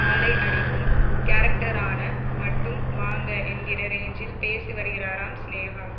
ஆளை அடிக்கும் கேரக்டர்னா மட்டும் வாங்க என்கிற ரேஞ்சில் பேசி வருகிறாராம் சினேகா